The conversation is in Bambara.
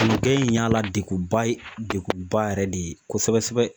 Kɔnɔgɛn in y'a la degunba ye degunba yɛrɛ de ye kosɛbɛ sɛbɛ